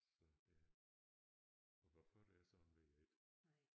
Så ja og hvorfor det er sådan ved jeg ikke